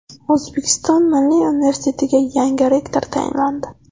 O‘zbekiston Milliy universitetiga yangi rektor tayinlandi.